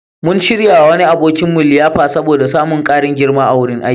Mun shiryawa wani abokinmu liyafa saboda samun ƙarin girma a wurin aiki.